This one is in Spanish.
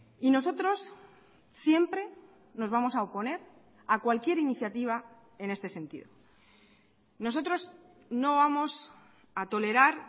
y nosotros siempre nos vamos a oponer a cualquier iniciativa en este sentido nosotros no vamos a tolerar